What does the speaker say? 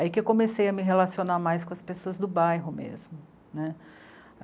Aí que eu comecei a me relacionar mais com as pessoas do bairro mesmo, né.